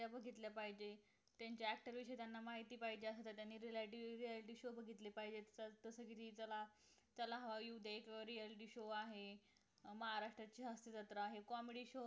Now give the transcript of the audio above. त्या बघ त्या बघितल्या पाहिजे त्यांच्या actor ची माहिती पाहिजे त्यांनी सुद्धा reality show बघितले पाहिजे जस कि चला चला हवा येऊ दे हा reality show आहे महाराष्ट्राची हास्य जत्रा हे comedy show आहे बघितलं पाहिजे